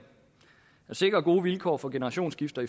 at sikre gode vilkår for generationsskifter